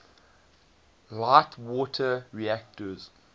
light water reactors